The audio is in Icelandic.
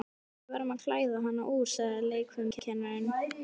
Við verðum að klæða hana úr, sagði leikfimikennarinn.